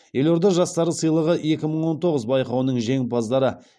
елорда жастары сыйлығы екі мың он тоғыз байқауының жеңімпаздары